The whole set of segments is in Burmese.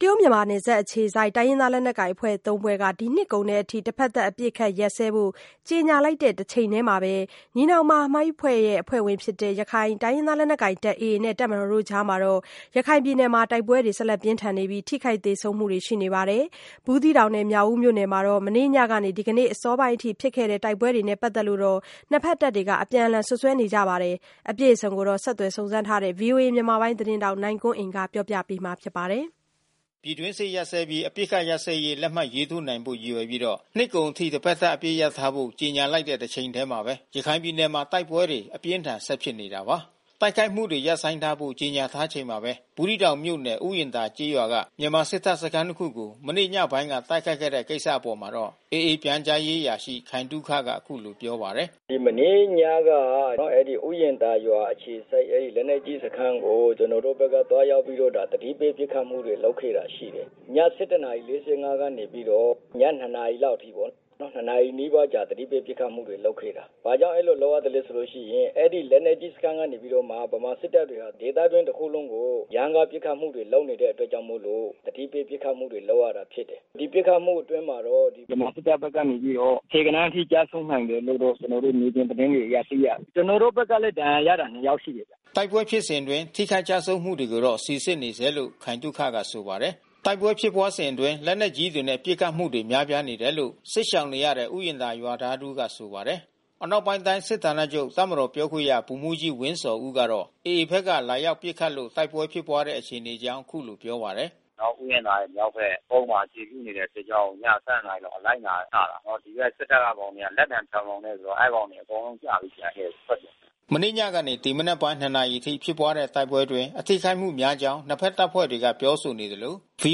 တရုတ်-မြန်မာနယ်စပ် အခြေစိုက် တိုင်းရင်းသား လက်နက်ကိုင် အဖွဲ့ ၃ ဖွဲ့က ဒီနှစ်ကုန်အထိ တစ်ဘက်သတ် အပစ်အခတ်ရပ်စဲဖို့ ကြေညာလိုက်တဲ့ တချိန်တည်းမှာပဲ အဖွဲ့ဝင်ဖြစ်တဲ့ ရခိုင်လက်နက်ကိုင် AA နဲ့ တပ်မတော်ကြား ရခိုင်ပြည်နယ်မှာ တိုက်ပွဲတွေ ဆက်လက် ဖြစ်ပွားနေပြီး ထိခိုက်သေဆုံးမှုတွေလည်း ရှိနေပါတယ်။ ဘူးသီးတောင်နဲ့ မြောက်ဦးမြို့နယ်မှာ မနေ့ညကနေ ဒီနေ့အစောပိုင်းအထိ ဖြစ်ခဲ့တဲ့ တိုက်ပွဲတွေနဲ့ ပတ်သက်လို့လည်း အပြန်အလှန် စွပ်စွဲနေကြတာပါ။ အပြည့်အစုံကိုတော့ ဆက်သွယ်စုံစမ်းထားတဲ့ ဗွီအိုအေ မြန်မာပိုင်းသတင်းထောက် နိုင်ကွမ်းအိန်က ပြောပြပေးမှာ ဖြစ်ပါတယ်။ ပြည်တွင်းစစ် ရပ်စဲပြီး အပစ်အခတ်ရပ်စဲရေး လက်မှတ်ရေးထိုးနိုင်ဖို့ ရည်ရွယ်ပြီး နှစ်ကုန်အထိ တစ်ဘက်သတ် အပစ်ရပ်ထားဖို့ ကြေညာလိုက်တဲ့ တချိန်တည်းမှာပဲ ရခိုင်ပြည်နယ်မှာ တိုက်ပွဲတွေ အပြင်းအထန် ဆက်ဖြစ်နေတာပါ။ တိုက်ခိုက်မှုတွေ ရပ်ဆိုင်းထားဖို့ ကြေညာထားချိန်မှာပဲ ဘူးသီးတောင်မြို့နယ် ဥယျာဉ်သာကျေးရွာက မြန်မာစစ်တပ်စခန်းတစ်ခုကို မနေ့ညပိုင်းက တိုက်ခိုက်ခဲ့တဲ့ ကိစ္စအပေါ်မှာတော့ AA အဖွဲ့ ပြန်ကြားရေးအရာရှိ ခိုင်သုခက အခုလို တုံ့ပြန်ပါတယ်။ “မနေ့ညက အဲဒီဥယျာဉ်သာရွာအခြေစိုက် လက်နက်ကြီးစခန်းကို ကျနော်တို့ဘက်က သွားရောက်ပြီးတော့ သတိ ပေးပစ်ခတ်မှုတွေ လုပ်ခဲ့တာ ရှိတယ်။ ည ၁၁ နာရီ ၄၅ ကနေပြီးတော့ ည ၂ နာရီလောက်အထိပေါ့။ နှစ်နာရီနီးပါး အကြာ သတိပေးပစ်ခတ်မှုတွေ လုပ်ခဲ့တာ။ ဘာကြောင့် အဲဒီလို လုပ်ရလည်းဆိုရင် အဲဒီလက်နက်ကြီး စခန်းကနေပြီးတော့မှ ဗမာစစ်တပ်တွေက ဒေသတွင်းတခုလုံးကို ရမ်းကားပစ်ခတ်မှုတွေ လုပ်နေတဲ့အတွက်ကြောင့်မို့လို့ သတိပေး ပစ်ခတ်မှု တွေလုပ်ရတာ ဖြစ်တယ်။ ဒီပစ်ခတ်မှုအတွင်းမှာတော့ ဗမာစစ်တပ်ဘက်ကတော့ ဆယ်ဂဏန်းအထိ ကျဆုံးနိုင်တယ်လို့တော့ ကျနော်တို့ မြေပြင်သတင်းတွေအရ သိရတယ်။ ကျနော်တို့ဘက်ကလည်း ဒဏ်ရာရတာ နှစ် ယောက် ရှိတယ်ဗျ။” တိုက်ပွဲဖြစ်စဉ်အတွင်း ထိခိုက်ကျဆုံးမှုတွေကိုတော့ စီစစ်နေဆဲလို့ ခိုင်သုခက ဆိုပါတယ်။ တိုက်ပွဲဖြစ်ပွားစဉ်အတွင်း လက်နက်ကြီးတွေနဲ့ ပစ်ခတ်မှုတွေ များပြားတယ်လို့ စစ်ရှောင်နေရတဲ့ ဥယျာဉ်သာ ရွာသား တဦးက ဆိုပါတယ်။ အနောက်ပိုင်းတိုင်း စစ်ဌာနချုပ်တပ်မတော် ပြောခွင့်ရ ဗိုလ်မှူးကြီးဝင်းဇော်ဦးကတော့ AA ဘက်က လာရောက်ပစ်ခတ်လို့ တိုက်ပွဲဖြစ်ပွားတဲ့ အခြေအနေအကြောင်း အခုလိုပြောပါတယ်။ “ဥယျာဉ်သာရွာရဲ့ မြောက်ဘက် ကုန်းမှာ အခြေပြုနေတဲ့ စစ်ကြောင်းကို ည ၁၂ နာရီလောက်မှာ အငိုက်လာချတာ။ ဒီကစစ်တပ်ကကောင်တွေက လက်သံပြောင်ပြောင်နဲ့ဆို အဲဒီကောင်တွေ အကုန်လုံးကျပြီး ပြန်လှည့်ထွက်ပြေးတယ်။” မနေ့ညကနေ ဒီမနက်ပိုင်း ၂ နာရီအထိ ဖြစ်ပွားတဲ့ တိုက်ပွဲအတွင်း အထိခိုက်များကြောင်း နှစ်ဘက် တပ်ဖွဲ့တွေကနေ ပြောဆိုနေသလို ဗွီ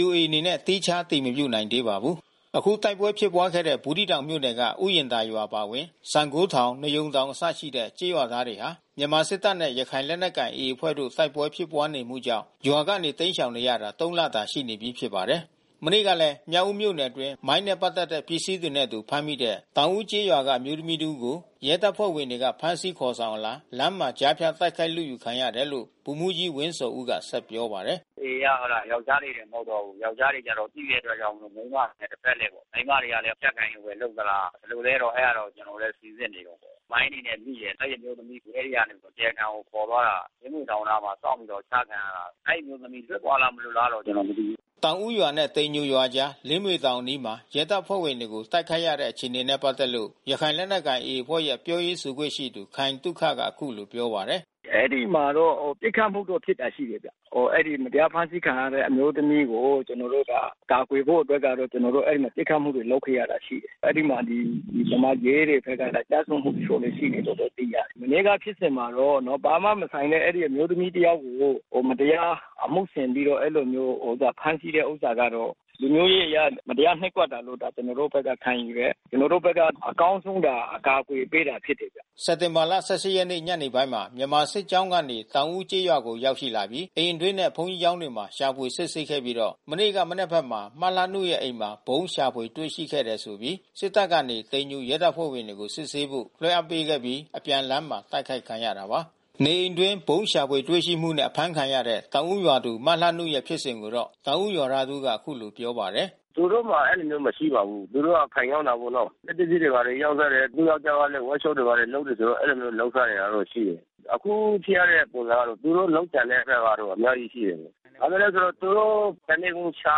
အိုအေအနေနဲ့ သီးခြား အတည်မပြုနိုင်သေးပါဘူး။ အခုတိုက်ပွဲဖြစ်ပွားခဲ့တဲ့ ဘူးသီးတောင်မြို့နယ်က ဥယျာဉ်သာရွာအပါအဝင် စံဂိုးထောင် နွားရုံတောင်အစရှိတဲ့ ကျေးရွာသားတွေဟာ မြန်မာစစ်တပ်နဲ့ ရခိုင်လက်နက်ကိုင် AA အဖွဲ့တို့ တိုက်ပွဲဖြစ်ပွားနေမှုကြောင့် ရွာကနေတိမ်းရှောင်နေရတာ သုံး လတာ ရှိနေပြီး ဖြစ်ပါတယ်။ မနေ့ကလည်း မြောက်ဦးမြို့နယ်အတွင်း မိုင်းနဲ့ ပတ်သက်တဲ့ ပစ္စည်းတွေနဲ့အတူ ဖမ်းမိတဲ့ တောင်ဦးကျေးရွာက အမျိုးသမီး တဦးကို ရဲတပ်ဖွဲ့တွေက ဖမ်းဆီးခေါ်ဆောင်အလာ လမ်းမှာကြားဖြတ် တိုက်ခိုက်လုယူခံရတယ်လို့ ဗိုလ်မှူးကြီးဝင်း ဇော်ဦးက ဆက်ပြောပါတယ်။ “AA က ဟုတ်လား။ ယောကျာ်းတွေတင် မဟုတ်တော့ဘူး။ ယောကျာ်းတွေက သိတဲ့အတွက်ကြောင့်မို့ မိန်းမတွေနဲ့ တဘက်လှည့်ပေါ့။ မိန်းမတွေကလည်း အကြပ်ကိုင်လို့ပဲ လုပ်သလား ဘယ်လိုလည်းတော့ ကျနော်တို့လည်း စီစစ်နေတုန်းပဲ။ မိုင်းတွေနဲ့ မိတယ်။ အဲဒီအမျိုးသမီးကို ရဲအရာရှိတွေ တရားခံကို ခေါ်သွားတာ လင်းမြွေတောင်နားမှာ စောင့်ပြီးတော့ အချခံရတာ။ အဲဒီအမျိုးသမီး လွတ်သွားလား၊ မလွတ်လား ကျနော်မသိဘူး။” တောင်ဦးရွာနဲ့ တိမ်ညိုရွာကြားက လင်းမြွေတောင်အနား ရဲတပ်ဖွဲ့ကို တိုက်ခိုက်ခဲ့တဲ့ အခြေအနေနဲ့ ပတ်သက်လို့ ရခိုင် လက်နက်ကိုင် AA အဖွဲ့ရဲ့ ပြောရေးဆိုခွင့်ရှိသူ ခိုင်သုခကအခုလိုပြောပါတယ်။ “အဲဒီမှာတော့ ပစ်ခတ်မှုတော့ဖြစ်တာ့ ရှိတယ်ဗျ။ အဲဒီ မတရားဖမ်းဆီးခံရတဲ့ အမျိုးသမီးကို ကျနော်တို့ ကာကွယ်ဖို့ အတွက်ကတော့ ကျနော်တို့အဲဒီမှာ ပစ်ခတ်မှုတွေ လုပ်ခဲ့ရတာ ရှိတယ်။ အဲဒီမှာ ဒီ ဗမာရဲတွေဘက်ကလည်း ကျဆုံးမှု တချို့ရှိတယ်လို့လည်း သိရတယ်။ မနေ့က ဖြစ်စဉ်မှာတော့ ဘာမှမဆိုင်တဲ့ အဲဒီ အမျိုးသမီးတယောက်ကို မတရားအမှု ဆင်ပြီးတော့ အဲဒီလိုမျိုးဖမ်းဆီးတဲ့ ဥစ္စာကတော့ လူမျိုးရေးအရ မတရားနှိပ်ကွပ်တာလို့ ကျနော်တို့ဘက်က ခံယူ တယ်။ ကျနော်တို့ဘက်က အကောင်းဆုံး အကာကွယ်ပေးတာ ဖြစ်တယ်ဗျ။” စက်တင်ဘာ ၁၈ ရက်နေ့ ညနေပိုင်းမှာ မြန်မာစစ်ကြောင်းကနေ တောင်ဦးကျေးရွာကို ရောက်ရှိလာပြီး အိမ်အတွင်းနဲ့ ဘုန်းကြီးကျောင်းတွေမှာ ရှာဖွေစစ်ဆေးခဲ့ပြီး မနေ့က မနက်ဘက်မှာ မလှနုရဲ့အိမ်မှာ ဗုံးရှာဖွေ တွေ့ရှိခဲ့တယ်ဆိုပြီး စစ်တပ်ကနေ တိမ်ညိုရဲတပ်ဖွဲ့ဝင်တွေကိုစစ်ဆေးဖို့ လွှဲအပ်ပေးခဲ့ပြီး အပြန်လမ်းမှာ တိုက်ခိုက်ခံရတာပါ။ နေအိမ်အတွင်း ဗုံးရှာဖွေတွေ့ရှိမှုနဲ့ အဖမ်းခံရတဲ့ တောင်ဦးရွာသူမလှနုရဲ့ ဖြစ်စဉ်ကိုတော့ တောင်ဦးရွာသား တဦးက အခုလိုပြောပါတယ်။ “သူတို့မှာ အဲဒီလိုမျိုး မရှိပါဘူး။ သူတို့က ဆိုင်ရောင်းတာပေါ့နော။ စက်ပစ္စည်းတွေ ညာတွေ ရောင်းစားတယ်။ သူ့ယောကျာ်းကလည်း ဝပ်ရှောပ့်တွေ ဘာတွေလုပ်တယ်ဆိုတော့ အဲဒီလိုမျိုး လုပ်စားတောတော့ ရှိတယ်။ အခုဖြစ်ရတဲ့ ပုံစံကတော့ သူတို့လုပ်ကြံတဲ့အကွက်ကတော့ အများကြီးရှိတယ်။ ဘာလို့လည်းဆိုတော့ သူတို့ မြန်မာစစ်တပ် တနေကုန်ရှာ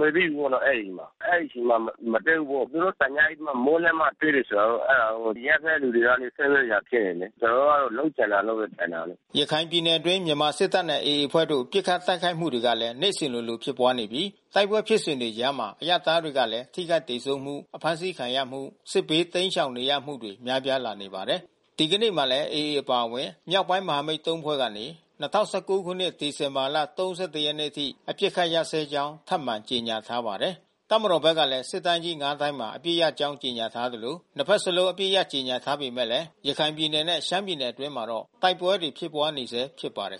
နေပြီပေါ့ အဲဒီမှာ။ အဲဒီအချိန်မှာ မတွေ့ဘူးပေါ့။ သူတို့တညအိပ်ပြီးမှ မိုးလင်းမှ တွေ့တယ်ဆိုတော့ အဲတာတော့ အရပ်ဘက် လူတွေတော့ စိုးရိမ်စရာဖြစ်နေပြီး။ ကျနော်တို့ကတော့ လုပ်ကြံတယ်လို့တော့ ထင်တာပဲ။” ရခိုင်ပြည်နယ်အတွင်း မြန်မာစစ်တပ်နဲ့ AA အဖွဲ့တို့ တိုက်ပွဲဖြစ်ဉ်တွေအကြား ပစ်ခတ်တိုက်ခိုက်မှုတွေကလည်း နေ့စဉ် လိုလိုဖြစ်ပွါးနေပြီး ကြားထဲမှာ အရပ်သားတွေကလည်း ထိခိုက်သေဆုံးမှု အဖမ်းဆီးခံရမှု စစ်ဘေးတိမ်းရှောင်နေရမှုတွေ များပြားလာနေပါတယ်။ ဒီကနေ့မှာလည်း AA အပါအဝင် တအာင်းပလောင်အဖွဲ့ TNLA ၊ ကိုးကန့်အဖွဲ့ MNDAA စတဲ့မြောက်ပိုင်း မဟာမိတ် ၃ ဖွဲ့က ၂၀၁၉ ခုနှစ် ဒီဇင်ဘာလ ၃၁ ရက်နေ့အထိ အပစ်အခတ်ရပ်စဲကြောင်း ထပ်မံကြေညာထားပါတယ်။ တပ်မတော်ဘက်ကလည်း စစ်တိုင်းကြီး ၅ ခုမှာ အပစ်ရပ်ကြောင်း ကြေညာထားသလို နှစ်ဘက်စလုံး အပစ်ရပ်ကြေညာနေပေမဲ့ ရခိုင်ပြည်နယ်နဲ့ ရှမ်းပြည်နယ်အတွင်းမှာတော့ တိုက်ပွဲတွေ ဖြစ်ပွားနေဆဲဖြစ်ပါတယ်